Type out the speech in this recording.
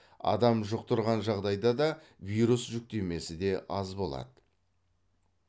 адам жұқтырған жағдайда да вирус жүктемесі де аз болады